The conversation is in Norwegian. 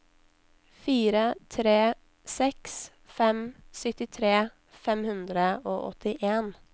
fire tre seks fem syttitre fem hundre og åttien